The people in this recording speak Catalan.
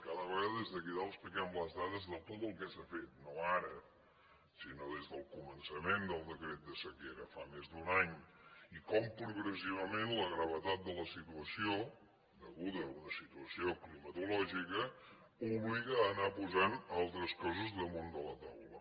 cada vegada des d’aquí dalt expliquem les dades de tot el que s’ha fet no ara sinó des del començament del decret de sequera fa més d’un any i com progressivament la gravetat de la situació deguda a una situació climatològica obliga a anar posant altres coses damunt de la taula